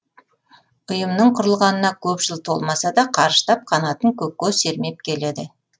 ұйымның құрылғанына көп жыл толмаса да қарыштап қанатын көкке сермеп келеді